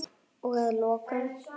Og að lokum.